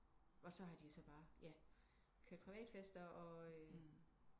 Og så har de så bare ja kørt privatfester og